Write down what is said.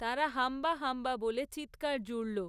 তারা 'হাম্বা', 'হাম্বা' বলে চিৎকার জুড়ল।